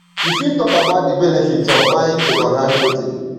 you fit talk about di benefits of buying secondhand clothing